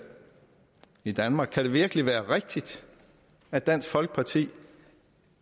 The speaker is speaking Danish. i danmark kan det virkelig være rigtigt at dansk folkeparti